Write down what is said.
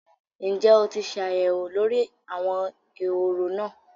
Ǹjẹ́ o ti ṣ'àyẹ̀wò lórí àwọn ehoro náà?